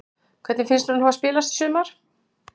Hvernig finnst þér hún hafa spilast í sumar?